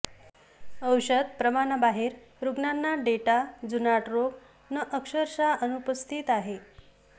औषध प्रमाणा बाहेर रुग्णांना डेटा जुनाट रोग न अक्षरशः अनुपस्थित आहेत